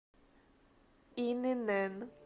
инн